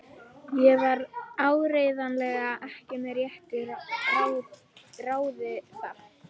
Ég var áreiðanlega ekki með réttu ráði þá.